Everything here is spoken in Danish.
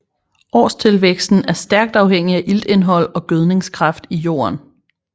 Årstilvæksten er stærkt afhængig af iltindhold og gødningskraft i jorden